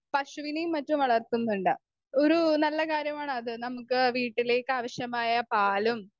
speaker 2 പശുവിനെയും മറ്റും വളർത്തുന്നുണ്ട് ഒരു നല്ല കാര്യമാണ് അത് നമുക്ക് വീട്ടിലേക്കാവശ്യമായ പാലും